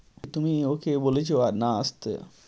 তুমি ওকে বলেছো আর না আসতে?